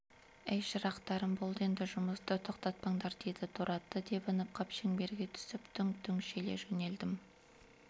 әй шырақтарым болды енді жұмысты тоқтатпаңдар деді торы атты тебініп қап шеңберге түсіп дүңк-дүңк желе жөнелдім